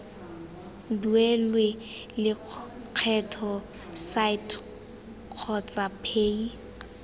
duelwe lekgetho site kgotsa paye